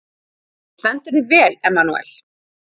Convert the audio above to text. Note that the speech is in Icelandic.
Þú stendur þig vel, Emmanúel!